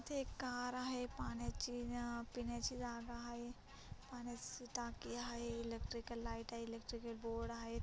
इथे एक कार आहे पाण्याची पिण्याची जागा आहे टाकी हाय इलेक्ट्रिकल लाइट आहे इलेक्ट्रिकल बोर्ड आहे.